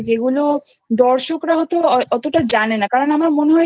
যেগুলো দর্শকরা হয়তো অতটা জানে না কারণ আমার মনে হয়